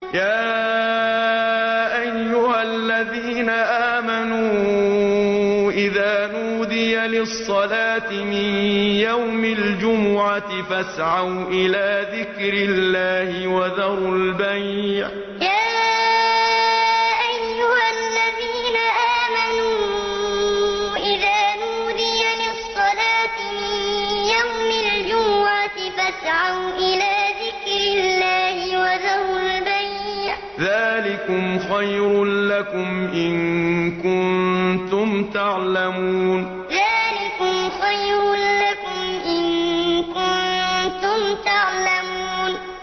يَا أَيُّهَا الَّذِينَ آمَنُوا إِذَا نُودِيَ لِلصَّلَاةِ مِن يَوْمِ الْجُمُعَةِ فَاسْعَوْا إِلَىٰ ذِكْرِ اللَّهِ وَذَرُوا الْبَيْعَ ۚ ذَٰلِكُمْ خَيْرٌ لَّكُمْ إِن كُنتُمْ تَعْلَمُونَ يَا أَيُّهَا الَّذِينَ آمَنُوا إِذَا نُودِيَ لِلصَّلَاةِ مِن يَوْمِ الْجُمُعَةِ فَاسْعَوْا إِلَىٰ ذِكْرِ اللَّهِ وَذَرُوا الْبَيْعَ ۚ ذَٰلِكُمْ خَيْرٌ لَّكُمْ إِن كُنتُمْ تَعْلَمُونَ